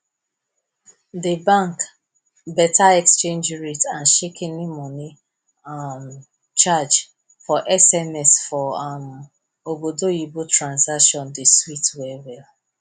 di bank beta exchange rate and shikini money um charge for sms for um obodoyibo transaction dey sweet well well